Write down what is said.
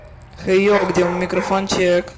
хей йоу где мой микрофончик